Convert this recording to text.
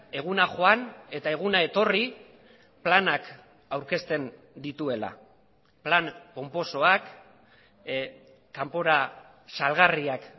eguna joan eta eguna etorri planak aurkezten dituela plan ponposoak kanpora salgarriak